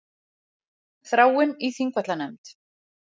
Þráinn í Þingvallanefnd